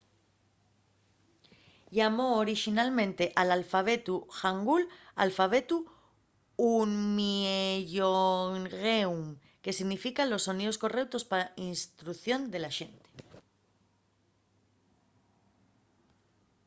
llamó orixinalmente al alfabetu hangul alfabetu hunminjeongeum que significa los soníos correutos pa la instrucción de la xente